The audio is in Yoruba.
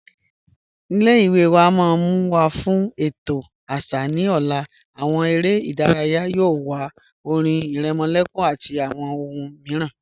Ilẹ̀-iwe wa n mú wa fún ètò àṣà ni ọ̀lá, awọn èrè idáràyà yóò wà, ọ̀rìn ìrèmòlẹ̀kùn àti awọn ọ̀hùn míìràn.